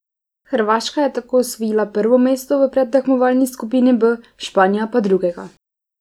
Hrvaška je tako osvojila prvo mesto v predtekmovalni skupini B, Španija pa drugega.